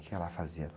O que ela fazia?